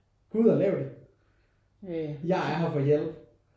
Gå ud og lav det. Jeg er her for hjælp